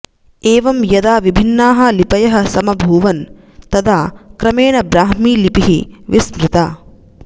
एवं यदा विभिन्नाः लिपयः समभूवन् तदा क्रमेण ब्राह्मीलिपिः विस्मृता